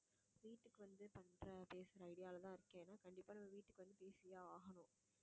வீட்டுக்கு வந்து பண்ற பேசுற idea லதான் இருக்கேன் ஏன்னா கண்டிப்பா நான் வீட்டுக்கு வந்து பேசியே ஆகணும்